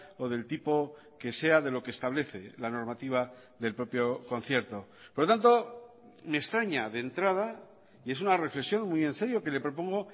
o del tipo que sea de lo que establece la normativa del propio concierto por lo tanto me extraña de entrada y es una reflexión muy en serio que le propongo